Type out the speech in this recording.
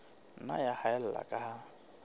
nna ya haella ka ha